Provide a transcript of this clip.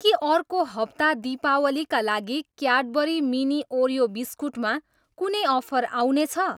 के अर्को हप्ता दीपावलीका लागि क्याडबरी मिनी ओरियो बिस्कुटमा कुनै अफर आउनेछ?